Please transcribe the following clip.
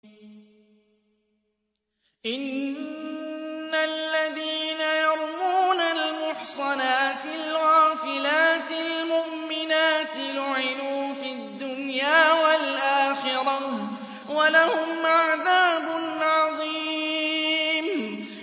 إِنَّ الَّذِينَ يَرْمُونَ الْمُحْصَنَاتِ الْغَافِلَاتِ الْمُؤْمِنَاتِ لُعِنُوا فِي الدُّنْيَا وَالْآخِرَةِ وَلَهُمْ عَذَابٌ عَظِيمٌ